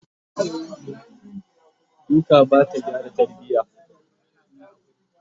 duka Bata gyara tarbiya